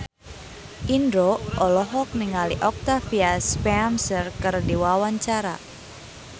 Indro olohok ningali Octavia Spencer keur diwawancara